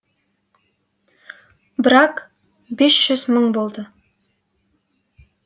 брак бес жүз мың болды